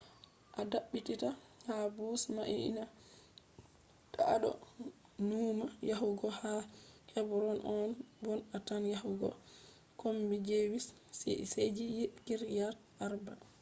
a dabbita ha bus mai ni ta a do nuuma yahugo ha hebron on bon a tan yahugo kombi jewish ci’eji kiryat arba